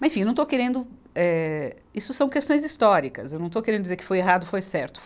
Mas, enfim, não estou querendo, eh, isso são questões históricas, eu não estou querendo dizer que foi errado, foi certo.